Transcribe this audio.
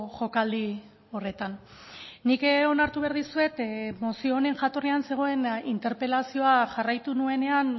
jokaldi horretan nik onartu behar dizuet mozio honen jatorrian zegoen interpelazioa jarraitu nuenean